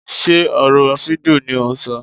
Sé ọ̀rọ̀ fídíò ni ò ń ṣọ.